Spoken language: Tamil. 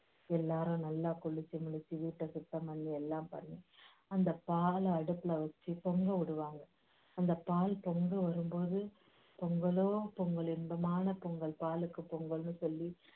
எல்லாரும் நல்லா குளிச்சு முடிச்சு வீட்டை சுத்தம் பண்ணி எல்லாம் பண்ணி அந்த பாலை அடுப்புல வச்சு பொங்க விடுவாங்க அந்த பால் பொங்கி வரும்போது பொங்கலோ பொங்கல் இன்பமான பொங்கல் பாலுக்கு பொங்கலுன்னு சொல்லி